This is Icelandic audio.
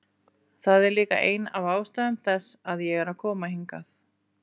Það er líka ein af ástæðum þess að ég er að koma hingað.